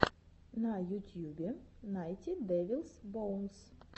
на ютьюбе найти дэвилс боунс